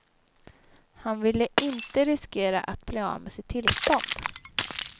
Han ville inte riskera att bli av med sitt tillstånd.